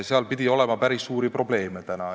Seal pidi päris suuri probleeme olema.